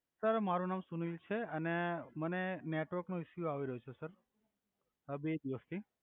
sir મારુ નામ સુનિલ છે અને મને નેટવર્ક નો ઇસ્સ્યુ આવી રહ્યો છે સર આ બે દિવસ થી